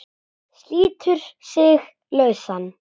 Slítur sig lausan.